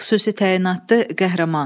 Xüsusi təyinatlı qəhrəman.